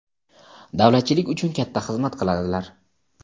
davlatchilik uchun katta xizmat qiladilar.